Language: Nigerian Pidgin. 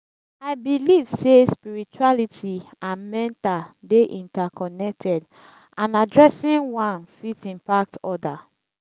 i believe say spirituality and mental dey interconnected and addressing wan fit impact oda.